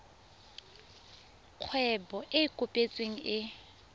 kgwebo e e kopetsweng e